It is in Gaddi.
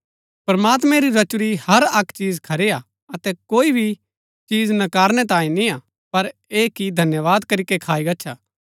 प्रमात्मैं री रचुरी हर अक्क चीज खरी हा अतै कोई भी चीज नकारनैं तांई निआं पर ऐह कि धन्यवाद करीके खाई गच्छा